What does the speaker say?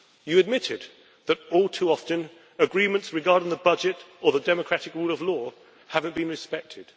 You admitted that, all too often, agreements regarding the budget or the democratic rule of law have not been respected.